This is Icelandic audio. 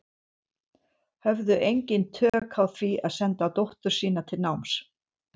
Höfðu engin tök á því að senda dóttur sína til náms.